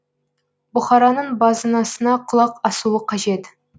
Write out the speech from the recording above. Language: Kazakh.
бұқараның базынасына құлақ асуы қажет